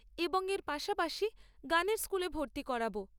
এবং এর পাশাপাশি গানের স্কুলে ভর্তি করাব।